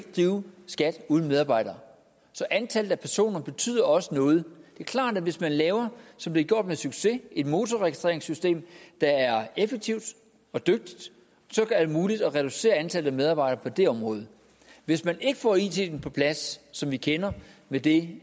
drive skat uden medarbejdere så antallet af personer betyder også noget det er klart at hvis man laver som det er gjort med succes et motorregistreringssystem der er effektivt og dygtigt er det muligt at reducere antallet af medarbejdere på det område hvis man ikke får iten på plads som vi kender med det